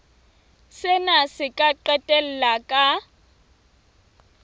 sena se ka qetella ka